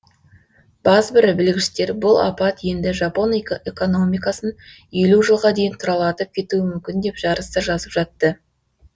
базбір білгіштер бұл апат енді жапон экономикасын елу жылға дейін тұралатып кетуі мүмкін деп жарыса жазып жатты